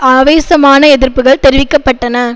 ஆவேசமான எதிர்ப்புகள் தெரிவிக்க பட்டன